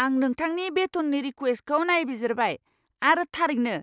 आं नोंथांनि बेथननि रिक्वेस्टखौ नायबिजिरबाय, आरो थारैनो,